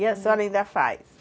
E a senhora ainda faz?